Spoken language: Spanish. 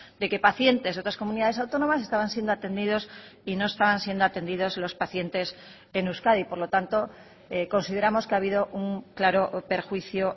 de que pacientes de otras comunidades autónomas estaban siendo atendidos y no estaban siendo atendidos los pacientes en euskadi por lo tanto consideramos que ha habido un claro perjuicio